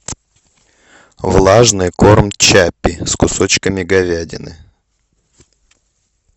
влажный корм чаппи с кусочками говядины